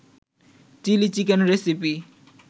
chilli chicken recipe